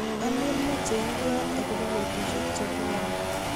Alen mache ibwat akobo betushek che buani